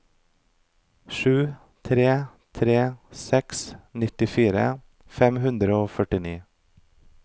sju tre tre seks nittifire fem hundre og førtini